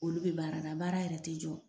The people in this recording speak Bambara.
Olu be baara la baara yɛrɛ te jɔ